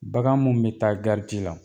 Bagan mun mi taa gariti la